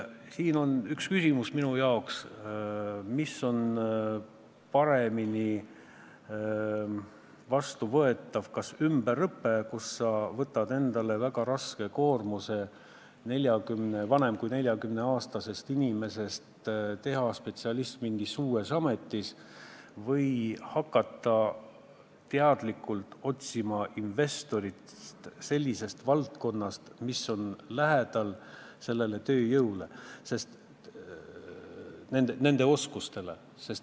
Siin on minu arvates küsimus, mis on paremini vastuvõetav, kas ümberõpe, mille korral sa võtad endale väga raske koormuse teha vanemast kui neljakümneaastasest inimesest spetsialist mingis uues ametis, või see, kui hakata teadlikult otsima investorit sellisest valdkonnast, mis on lähedal olemasoleva tööjõu oskustele.